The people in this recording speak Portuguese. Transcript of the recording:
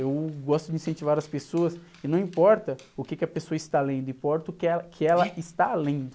Eu gosto de incentivar as pessoas e não importa o quê que a pessoa está lendo, importa o que ela, que ela está lendo.